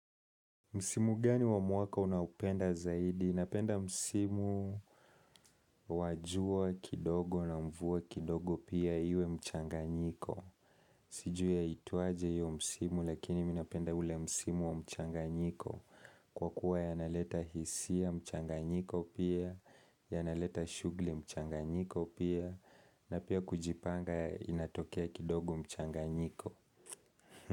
Msimu gani wa mwaka unaupenda zaidi? Napenda msimu wa jua kidogo na mvua kidogo pia iwe mchanganyiko. Sijui yaitwaje hiyo msimu lakini mi napenda ule msimu wa mchanganyiko. Kwa kuwa yanaleta hisia mchanganyiko pia, yanaleta shughuli mchanganyiko pia, na pia kujipanga inatokea kidogo mchanganyiko.